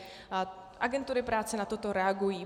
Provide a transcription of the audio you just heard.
Agentury práce na toto reagují.